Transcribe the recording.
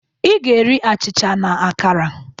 Ị gá-eri achịcha na akara.